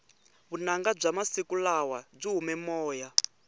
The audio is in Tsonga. vunanga bya masiku lawa byi hume moya